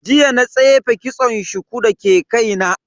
Jiya na tsefe kitson shuku dake kaina.